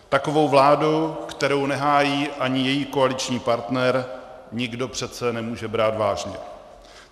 Takovou vládu, kterou nehájí ani její koaliční partner, nikdo přece nemůže brát vážně.